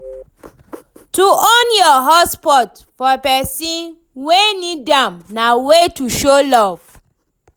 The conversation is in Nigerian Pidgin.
To on your hotspot for persin wey need am na way to show love